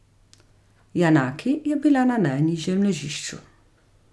Janaki je bila na najnižjem ležišču.